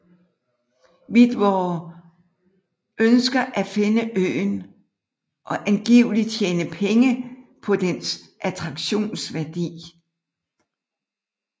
Widmore ønsker at finde øen og angiveligt tjene penge på dens attraktionsværdi